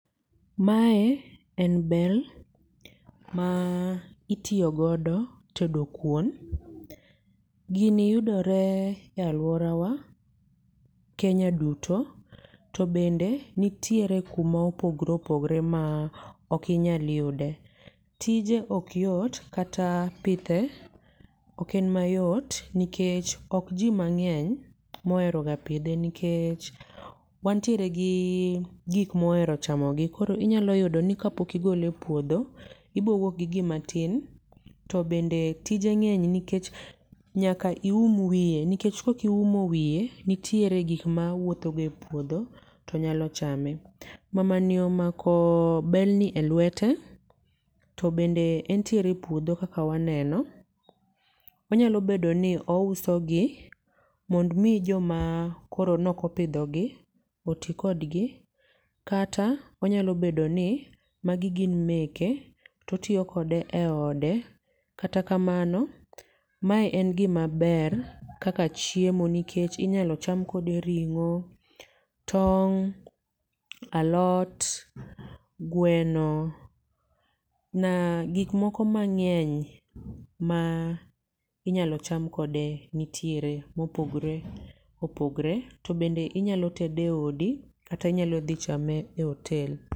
Mae en bel, ma itiyo godo tedo kuon. Gini yudore alworawa Kenya duto, to bende nitiere kuma opogore opogore ma ok inyal yude, tije ok yot kata pidhe ok en mayot nikech ok ji mang'eny moheroga pidhe nikech wantiere gi gik mohero chamogi koro inyalo yudoni kapok igole e puodho, ibowuok gi gima tin to bende tije ng'eny nikech nyaka ium wiye nikech ka ok iumo wiye, nitiere gik ma wuotho ga epuodho to nyalo chame. Mamani omako belni e lwete to bende entiere e puodho kaka waneno. Onyalo bedo ni ousogi mondo omi joma koro nokopidhogi oti kogi, kata onyalo bedoni magi gin meke to otiyo kode e ode, kata kamano, mae en gimaber kaka chiemo nikech inyalo cham kode ring'o, tong' alot, gweno na gikmoko mang'eny ma inyalo cham kode nitiere ma opogore opogore to bende inyalo tede e odi to kata inyalo dhi chame e otel.